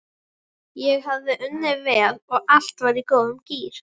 Ég hafði unnið vel og allt var í góðum gír.